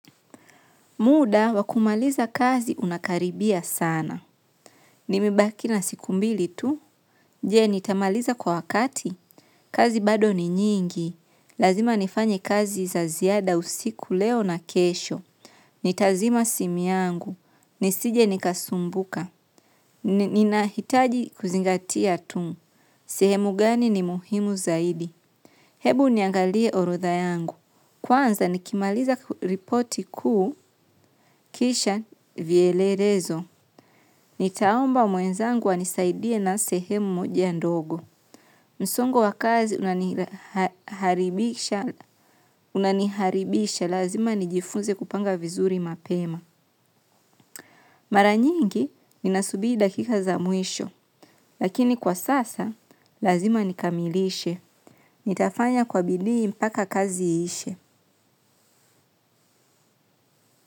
Muda, wakumaliza kazi unakaribia sana. Nimebaki na siku mbili tu. Je nitamaliza kwa wakati. Kazi bado ni nyingi. Lazima nifanye kazi za ziada usiku leo na kesho. Nitazima simu yangu. Nisije nikasumbuka. Ninahitaji kuzingatia tu. Sehemu gani ni muhimu zahidi. Hebu niangalie orodha yangu. Kwanza nikimaliza ripoti kuu kisha vyelelezo. Nitaomba mwenzangu wanisaidie na sehemu mojia ndogo. Msongo wakazi unaniharibisha lazima nijifunze kupanga vizuri mapema. Maranyingi ninasubiri dakika za mwisho. Lakini kwa sasa lazima nikamilishe. Nitafanya kwa bidii mpaka kazi iishe.